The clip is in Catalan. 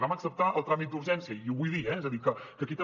vam acceptar el tràmit d’urgència i ho vull dir eh és a dir que aquí també